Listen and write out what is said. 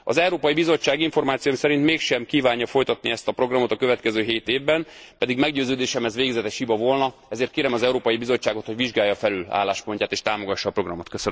Az Európai Bizottság információim szerint mégsem kívánja folytatni ezt a programot a következő 7 évben, pedig meggyőződésem, ez végzetes hiba volna, ezért kérem az Európai Bizottságot, hogy vizsgálja felül álláspontját és támogassa a programot.